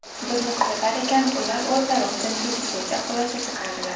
Bizni kuzatar ekan, ular o‘zlari uchun tegishlicha xulosa chiqaradilar”.